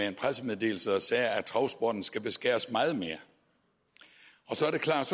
en pressemeddelelse sagde at travsporten skal beskæres meget mere så er det klart